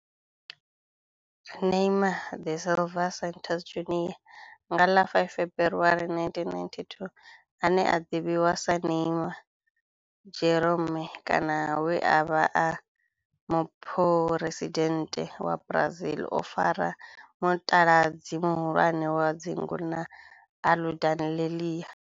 Neymar da Silva Santos Junior, nga ḽa 5 February 1992, ane a ḓivhiwa sa Ne'ymar' Jeromme kana we a vha e muphuresidennde wa Brazil o fara mutaladzi muhulwane wa dzingu na Aludalelia.